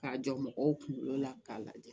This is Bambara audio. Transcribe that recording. K'a jɔ mɔgɔw kunkolo la k'a lajɛ